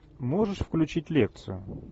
можешь включить лекцию